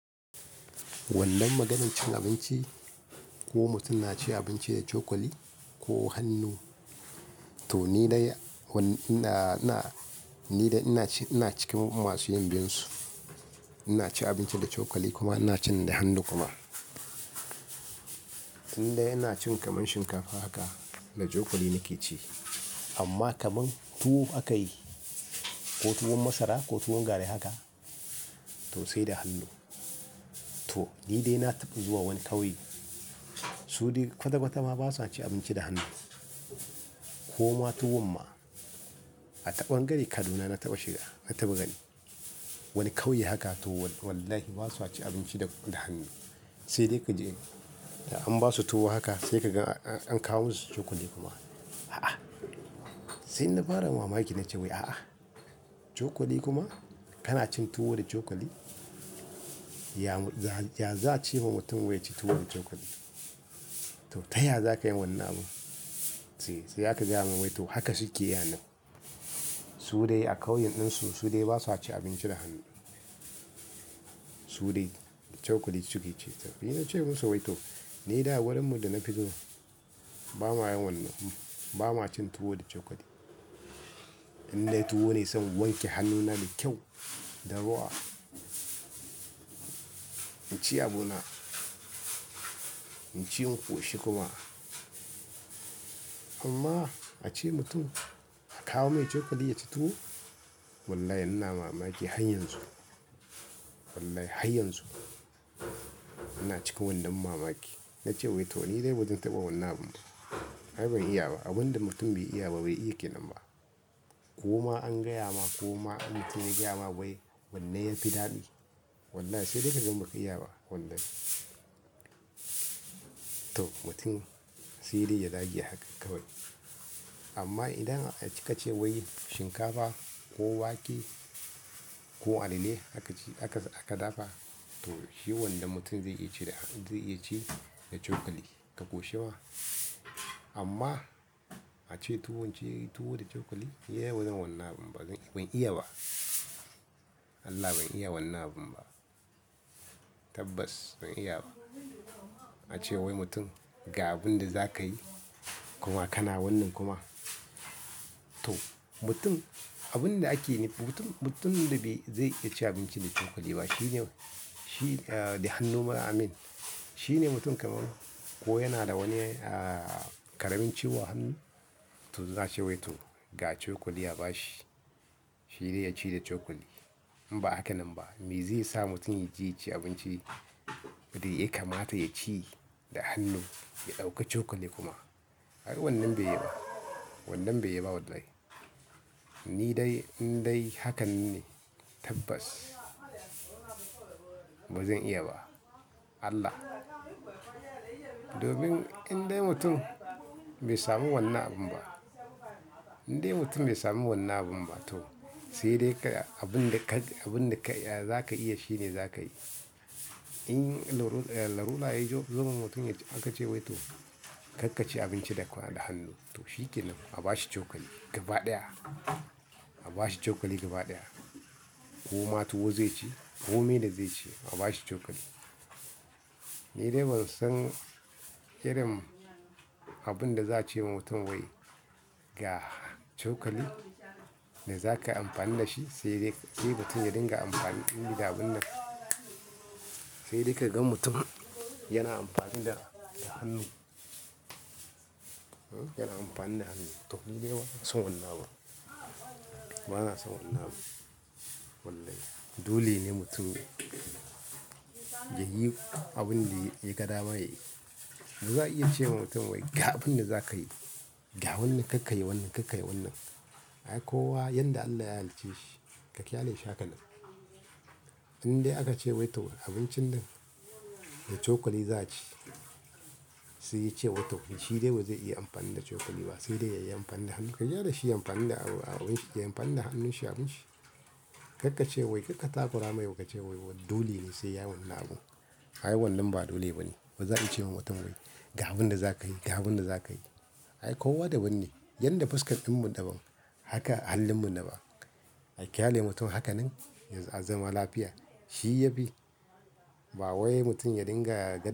Wannan maganin cin abinci ko mutum na ci abinci da cokali ko hannu. To nidai ina ina nidai cikin masuyin biyun su ina ci abinci da cokali kuma ina cin da hannu kuma. Indai ina cin kamar shinkafa haka da cokali nake ci. Amma kamar tuwo aka yi ko tuwon masara ko tuwon gari haka to sai da hannu. To ni dai na taɓa zuwa wani ƙauye, su dai kwata kwata ma ba sa cin abinci da hannu ko ma tuwon ma. A taɓon gari Kaduna na taɓa shiga, na taɓa gani. Wani ƙauye haka to wallahi ba sa ci abinci da, da hannu. Sai dai ka ji in ka an ba su tuwo haka sai ka gan an kawo musu cokali kuma. A'a! Sai na fara mamaki na ce wai a'a, cokali kuma? Kana cin tuwo da cokali? Ya, za, ya za ci wa mutum wai ya ci tuwo da cokali? To ta ya za ka yi wannan abun? Sai sai aka ji aman wai to haka suke yi a nan. Su dai a ƙauyen ɗin su su dai ba sa ci abinci da hannu. Su dai da cokali suke ci. To ni na ce musu wai to ni dai wurinmu da na fito ba ma yin wannan abun. Ba ma cin tuwo da cokali. Indai tuwo ne zan wanke hannuna da kyau, da ruwa. In ci abuna, in ci in ƙoshi kuma. Amma a ce mutum a kawo mai cokali ya ci tuwo? Wallahi ina mamaki har yanzu. Wallahi har yanzu ina cikin wannan mamaki. Na ce wai to ni dai bazan taɓa wannan abun ba. Ai ban iya ba. Abun da mutum bai iya ba bai iya ke nan ba. Koma an gayama koma in mutun ya gayama wanne yafi daɗi. Wallahi sai dai ka gan baka iya ba wannan. To mutum sai dai ya dage a haka kawai. Amma idan ka ce wai shinkafa ko wake ko alele aka ci aka, aka dafa, to shi wannan mutum zai iya ci da, zai iya ci da cokali ka koshewa. Amma a ce tuwo ce tuwo da cokali? Ni yau bazan wannan abun ba. Zan, ban iya ba. Allah ban iya wannan abun ba. Tabbas ban iya ba. A ce wai mutum ga abin da za ka yi kuma kana wannan kuma. To mutum abun da ake yi mutum, mutum da bai, zai iya ci abinci da cokali ba shine, shi, ah, da hannu ma amin, shine mutum kamar ko yana da wani, ah, ƙaramin ciwo hannu. To za a ce wai to ga cokali a bashi. Shi dai ya ci da cokali. In ba haka nan ba me zai sa mutum ya ji ya ci abinci, ya kamata ya ci da hannu ya ɗauka cokali kuma? Ai wannan bai yiba. Wannan bai yiba wallahi. Ni dai, in dai hakan ne tabbas bazan iya ba. Allah! Domin in dai mutum bai samu wannan abun ba, in dai mutum bai samu wannan abun ba to sai dai ka abun da ka, abun da ka, ya, za ka iya shine za ka yi. In larura, larura yayi jo, zaman mutum ya ci aka ce wai to kar ka ci abinci da kwano, da hannu. To shi ke nan, a bashi cokali gaba ɗaya. A bashi cokali gaba ɗaya. Ko ma tuwo zai ci ko mene zai ci a bashi cokali. Ni dai ban san irin abun da za a ce wa mutum wai ga cokali da za ka amfani da shi sai dai kai mutum ya dinga amfani ɗin gida abun nan. Sai dai ka gan mutum yana amfani da, da hannu. Hm, yana amfani da hannu. To ni dai ban son wannan ba. Bana son wannan ba. Wallahi dole ne mutum ya, ya yi abun da ya, ya ga dama ya yi. Ba za a iya ce wa mutum wai ga abun da za ka yi. Ga wannan kar ka yi wannan, kar ka yi wannan. Ai kowa yanda Allah ya halicce shi, ka kyalale shi hakanan. In dai aka ce wai to abincin nan da cokali za a ci, sai ya ce wai to shi dai bazai iya amfani da cokali ba sai dai ya yi amfani da hannu. Ka gyale shi yayi amfani da abun shi, ya amfani da hannun shi abun shi. Kar ka ce wai kar ka takura mai ba ka ce wai dole ne sai yayi wannan abun. Ai wannan ba dole ba ne. Bazan cewa mutum ga abinda zakayi ga abinda da zakayi. Ai kowa daban ne. Yanda fuskar ɗinmu daban haka halinmu naban ai kyaale mutum haka nan ya a zama lafiya. Shi ya fi ba wai mutum ya dinga.